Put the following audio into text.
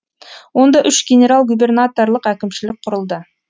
онда үш генерал губернаторлық әкімшілік құрылды